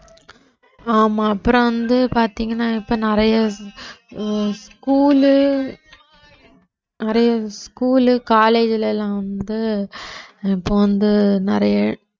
ஆமா அப்புறம் வந்து பாத்தீங்கன்னா இப்ப நிறைய உம் school லு நிறைய school, college ல எல்லாம் வந்து இப்ப வந்து நிறைய